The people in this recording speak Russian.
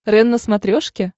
рен на смотрешке